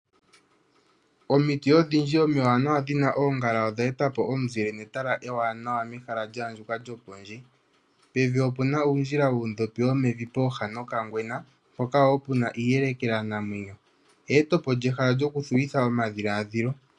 Omiti odhindji omiwaanawa dhina omuzile odhe etapo omuzile netala ewanawa mehala lya andjuka lyo pondje. Pevi opuna uundjila wuundhopi womevi pooha dhoka ngwena mpoka woo puna iiyelekela namuya. Eyetepo lyehala lyoku thuwitha omadhiladhilo.